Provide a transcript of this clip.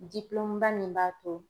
ba min b'a to